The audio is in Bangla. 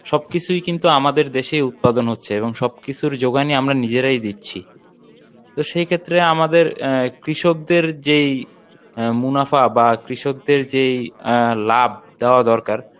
সবকিছুই কিন্তু আমাদের দেশেই উৎপাদন হচ্ছে এবং সবকিছুর জোগানই আমরা নিজেরাই দিচ্ছি তো সেইক্ষেত্রে আমাদের আহ কৃষকদের যেই আহ মুনাফা বা কৃষকদের যেই আহ লাভ দেওয়া দরকার